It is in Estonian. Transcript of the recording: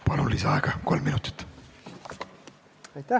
Palun, lisaaega kolm minutit!